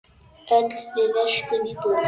Öll við verslum í búð.